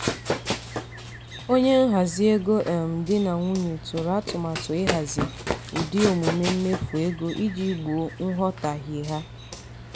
onye nhazi ego um di na nwunye tụrụ atụmatụ ihazi ụdị omume mmefu ego iji gboo nghọtahie ha.